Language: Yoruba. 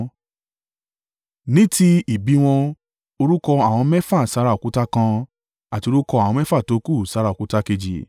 Ní ti ìbí wọn, orúkọ àwọn mẹ́fà sára òkúta kan àti orúkọ àwọn mẹ́fà tókù sára òkúta kejì.